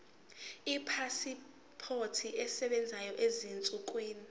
ipasipoti esebenzayo ezinsukwini